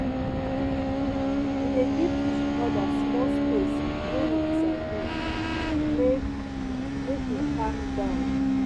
We dey give each oda small space wen we disagree make make we calm down.